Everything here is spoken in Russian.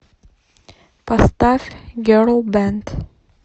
поставь герл бэнд